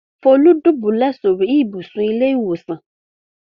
Folú ń dùbúlẹ̀ sórí ibùsùn ilé-ìwòsàn.